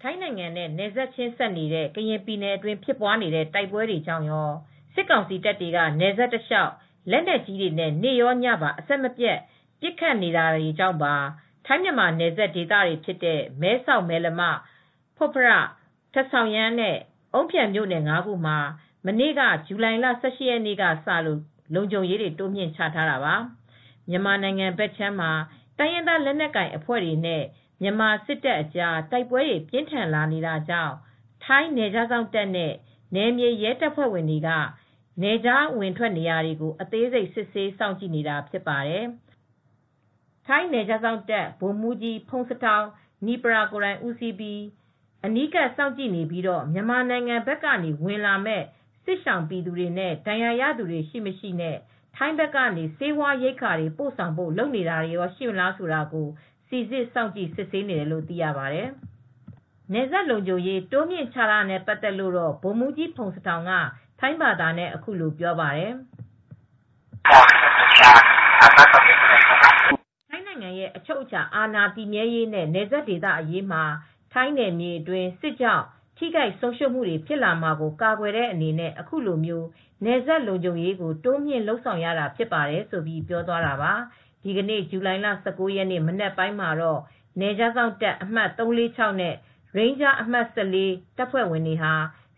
ထိုင်းနိုင်ငံနဲ့ နယ်ချင်းစပ်နေတဲ့ ကရင်ပြည်နယ်အတွင်း ဖြစ်ပွားနေတဲ့ တိုက်ပွဲကြောင့်ရော၊ စစ်ကောင်စီတပ်တွေက နယ်စပ်တလျှောက် လက်နက်ကြီးတွေနဲ့ နေ့ရောညပါ အဆက်မပြတ် ပစ်ခတ်နေတာတွေကြောင့်ပါ ထိုင်းမြန်မာ နယ်စပ်ဒေသတွေ ဖြစ်တဲ့ မဲဆောက်၊ မယ်လမ၊ ဖွတ်ဖရထာ့၊ ဆောင်ရန်း နဲ့ အုန်းဖြန် မြို့နယ် ၅ ခုမှာ မနေ့ ဇူလိုင်လ ၁၈ ရက်နေ့ကစလို့ လုံခြုံရေး တိုးမြှင့်ချထားတာပါ။ မြန်မာနိုင်ငံဘက်ခြမ်းမှာ တိုင်းရင်းသား လက်နက်ကိုင်အဖွဲ့တွေနဲ့ မြန်မာစစ်တပ်အကြား တိုက်ပွဲတွေ ပြင်းထန်လာနေတာကြောင့် ထိုင်းနယ်ခြား စောင့်တပ်နဲ့ နယ်မြေရဲတပ်ဖွဲ့တွေက နယ်ခြား အဝင်ထွက်နေရာတွေကို အသေးစိတ် စစ်ဆေး စောင့်ကြည့်နေတာ ဖြစ်ပါတယ်။ ထိုင်းနယ်ခြားစောင့်တပ် ဗိုလ်မှူးကြီး ဖုန်စထောင် နိပရာ (Pongsathorn Nippaya) ကိုယ်တိုင်ဦးစီးပြီး အနီးကပ် စောင့်ကြည့်နေပြီးတော့ မြန်မာနိုင်ငံ ဘက်ကနေ ဝင်လာမယ့် စစ်ရှောင်ပြည်သူနဲ့ ဒဏ်ရာရသူတွေ ရှိ မရှိ နဲ့ ထိုင်းဘက်ကနေ ဆေးဝါးရိက္ခာတွေ ပို့ဆောင်ဖို့ လုပ်နေတာတွေ ရှိမလား ဆိုတာကို စိစစ်စောင့်ကြည့် စစ်ဆေးနေတယ်လို့ သိရပါတယ်။ နယ်စပ်လုံခြုံရေး တိုးမြှင့်ချထားတာနဲ့ ပတ်သက်လို့တော့ ဗိုလ်မှူးကြီး ဖုန်စထောင် က ထိုင်းဘာသာနဲ့ အခုလို ပြောပါတယ်။ "ထိုင်းနိုင်ငံရဲ့ အချုပ်အခြာ အာဏာ တည်မြဲရေးနဲ့ နယ်စပ်ဒေသ အရေးမှာ ထိုင်းနယ်မြေအတွင်း စစ်ကြောင့် ထိခိုက် ဆုံးရူံးမှုတွေ ဖြစ်လာမှာကို ကာကွယ်တဲ့အနေနဲ့ အခုလို နယ်စပ်လုံခြုံရေးကို တိုးမြင့်လုပ်ဆောင်ရတာ ဖြစ်တယ်လို့ ပြောသွားတာပါ။" ဒီနေ့ ဇူလိုင်လ ၁၉ ရက် မနက်ပိုင်းမှာတော့ နယ်ခြားစောင့်တပ် အမှတ် ၃၄၆ နဲ့ ရိန်းဂျား အမှတ် ၁၄ တပ်ဖွဲ့ဝင်တွေဟာ